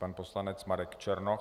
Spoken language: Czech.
Pan poslanec Marek Černoch.